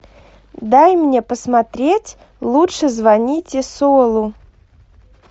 дай мне посмотреть лучше звоните солу